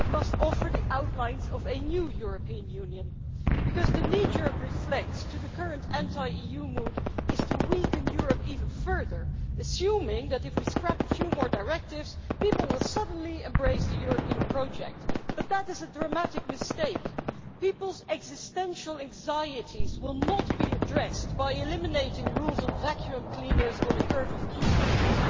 It must offer the outlines of a new European Union because the kneejerk reflex to the current anti EU mood is to weaken Europe even further, assuming that if we scrap a few more directives people will suddenly embrace the European project. But that is a dramatic mistake. People's existential anxieties will not be addressed by eliminating rules on vacuum cleaners or the curve of cucumbers.